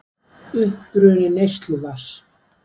Uppruni neysluvatns.